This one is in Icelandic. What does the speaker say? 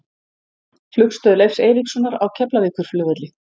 Flugstöð Leifs Eiríkssonar á Keflavíkurflugvelli.